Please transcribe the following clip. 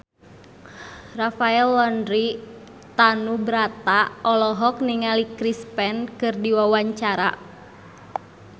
Rafael Landry Tanubrata olohok ningali Chris Pane keur diwawancara